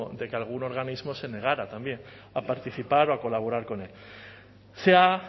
de que algún organismo se negara también a participar o a colaborar con él se ha